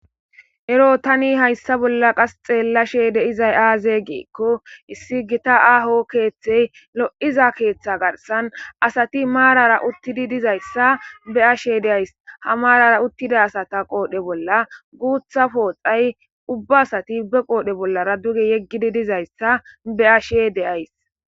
Ero tani hayssa bolla qas xeellashe deizay aaze geekko issi gita aaho keeththey lo7iza keeththa garsan asati maarara uttidi dizayssa be ashe deays ha maarara uttida asata qoodhe bolla guutha pooxay ubba asati be qoodhe bollara duge yeggidi dizayssa be ashe de'ays